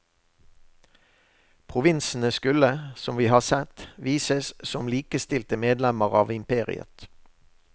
Provinsene skulle, som vi har sett, vises som likestilte medlemmer av imperiet.